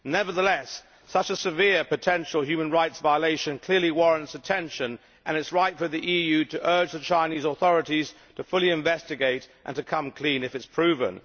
Nevertheless, such a severe potential human rights violation clearly warrants attention, and it is right for the EU to urge the Chinese authorities to fully investigate and to come clean if it is proven.